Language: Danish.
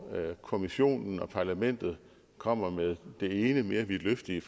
kommissionen og parlamentet kommer med det ene mere vidtløftige